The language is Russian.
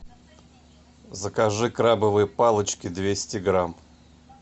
закажи крабовые палочки двести грамм